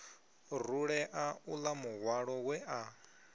rulea uḽa muhwalo we a